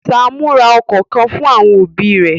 Sámú ra okọ̀ kan fún àwọn òbí rẹ̀.